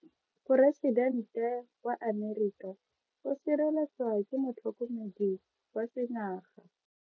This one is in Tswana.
Poresitente wa Amerika o sireletswa ke motlhokomedi wa sengaga.